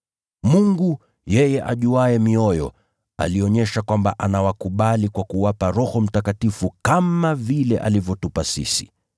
Mungu, yeye ajuaye mioyo, alionyesha kwamba anawakubali kwa kuwapa Roho Mtakatifu kama vile alivyotupa sisi.